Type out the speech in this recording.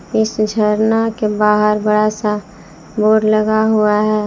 इस झरना के बाहर बड़ा सा बोर्ड लगा हुआ है।